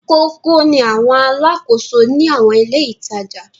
Kókó ni àwọn alákòóso ní àwọn ilé-ìtajà.